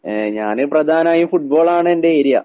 ഏഹ് ഞാന് പ്രധാനായും ഫുട്ബോളാണെന്റെ ഏരിയ.